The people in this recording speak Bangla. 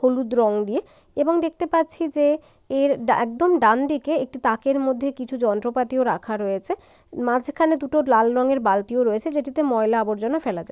হলুদ রং দিয়ে এবং দেখতে পাচ্ছি যে এর ডা--একদম ডান দিকে একটি তাকের মধ্যে কিছু যন্ত্রপাতিও রাখা রয়েছে মাঝখানে দুটো লাল রঙের বালতিও রয়েছে যেটিতে ময়লা আবর্জনা ফেলা যায়।